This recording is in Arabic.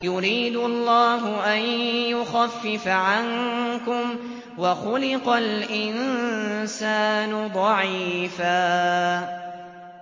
يُرِيدُ اللَّهُ أَن يُخَفِّفَ عَنكُمْ ۚ وَخُلِقَ الْإِنسَانُ ضَعِيفًا